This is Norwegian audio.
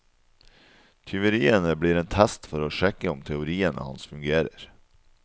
Tyveriene blir en test for å sjekke om teoriene hans fungerer.